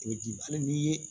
I bɛ di hali n'i ye